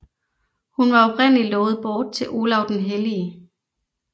Hun var oprindelig lovet bort til Olav den hellige